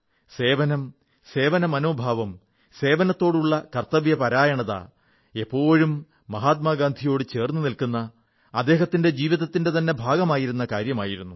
സേവനം സേവന മനോഭാവം സേവനത്തോടുള്ള കർത്തവ്യപരത എപ്പോഴും മഹാത്മാഗാന്ധിയോടു ചേർന്നു നിൽക്കുന്ന അദ്ദേഹത്തിന്റെ ജീവിതത്തിന്റെ ഭാഗമായിരുന്ന കാര്യമായിരുന്നു